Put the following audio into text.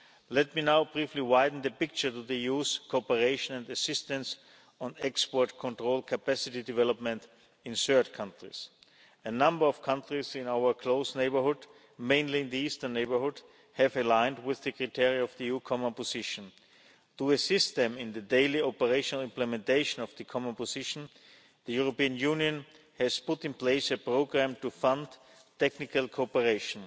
Let me now briefly widen the picture of the EU's cooperation and assistance on export control capacity development in third countries. A number of countries in our close neighbourhood, mainly in the eastern neighbourhood, have aligned with the criteria of the EU Common Position. To assist them in the daily operational implementation of the Common Position, the European Union has put in place a programme to fund technical cooperation.